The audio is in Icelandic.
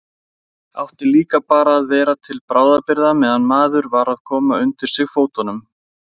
Átti líka bara að vera til bráðabirgða meðan maður var að koma undir sig fótunum.